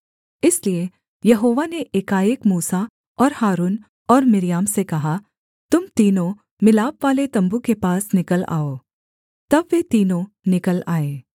इसलिए यहोवा ने एकाएक मूसा और हारून और मिर्याम से कहा तुम तीनों मिलापवाले तम्बू के पास निकल आओ तब वे तीनों निकल आए